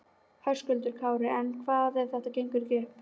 Höskuldur Kári: En hvað ef þetta gengur ekki upp?